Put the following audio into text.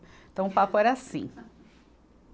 Então, o papo era assim.